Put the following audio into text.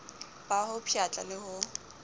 ba ho pshatla le ho